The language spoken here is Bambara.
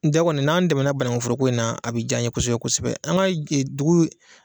Da kɔni n'an dɛmɛna banankuforoko in na a bɛ ja an ye kosɛbɛ kosɛbɛ an ka dugu in